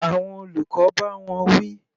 Àwọn olùkọ́ bá wọn wí.